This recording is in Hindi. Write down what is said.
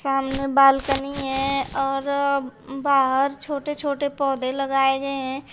सामने बालकनी है और बाहर छोटे छोटे पौधे लगाये गए हैं।